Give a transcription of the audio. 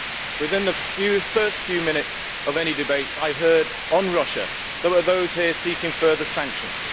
Within the first few minutes of any debates I heard on Russia, there were those here seeking further sanctions.